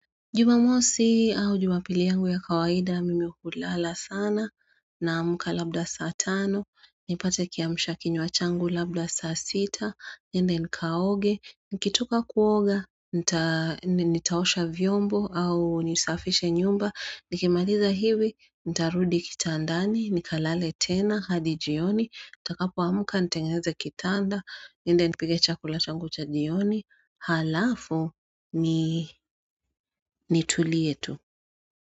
Jumamosi au jumapili yangu ya kawaida mimi ukulala sana na amuka labda saa tano, nipate kiamisha kinyo achangu labda saa sita, niende nikaoge, nikitoka kuoga, nitaosha vyombo au nisafishe nyumba, nikimaliza hivi, nitarudi kitandani, nikalale tena, hadi jioni, ntakapo amka, ntengenze kitanda, ninde nipige chakula changu cha jioni, Halafu ni nitulie tu.